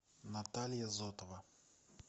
наталья зотова